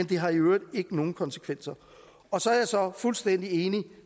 det har i øvrigt ikke nogen konsekvenser og så er jeg så fuldstændig enig